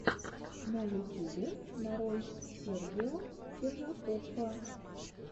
на ютюбе нарой сергео киржакоффа